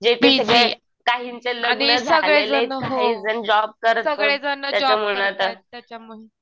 जे ते काहींचे लग्न झाले काहीजण जॉब करत त्याच्यामुळं